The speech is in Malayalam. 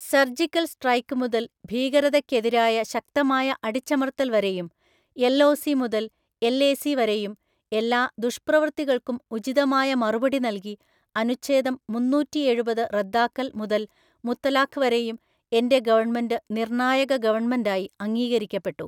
സർജിക്കൽ സ്ട്രൈക്ക് മുതൽ ഭീകരതയ്ക്കെതിരായ ശക്തമായ അടിച്ചമർത്തൽ വരെയും, എൽഒസി മുതൽ എൽഎസി വരെയും, എല്ലാ ദുഷ്പ്രവൃത്തികൾക്കും ഉചിതമായ മറുപടി നൽകി, അനുച്ഛേദം മുന്നൂറ്റിഎഴുപത് റദ്ദാക്കൽ മുതൽ മുത്തലാഖ് വരെയും, എന്റെ ഗവൺമെന്റ് നിർണായക ഗവൺമെന്റായി അംഗീകരിക്കപ്പെട്ടു.